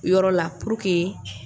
O yɔrɔ la pur ke